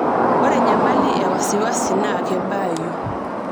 Ore enyamali e wasiwasi naa kebaayu.